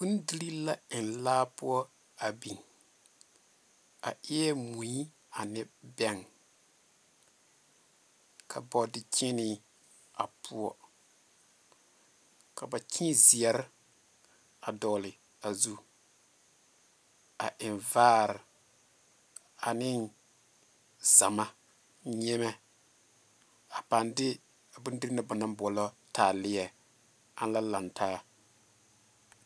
Bondirii la eŋ laa poɔ a biŋ, a eɛ mui ane bɛŋɛ, ka bɔɔdekyeenee a poɔ, ka ba kyee zeɛre a dɔgle a zu, a eŋ vaare ane zama nyemɛ a paaŋ de a bondirii na ba naŋ boɔlɔ taaleɛ ana la lantaa. 13398